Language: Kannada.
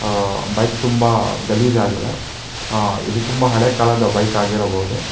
ಆ ಬೈಕ್ ತುಂಬಾ ಗಲೀಜ್ ಆಗಿದೆ ಆ ಇದು ತುಂಬಾ ಹಳೇ ಕಾಲದ ಬೈಕ್ ಆಗಿರಬಹುದು.